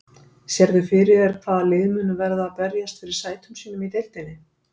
Sérðu fyrir þér hvaða lið munu verða að berjast fyrir sætum sínum í deildinni?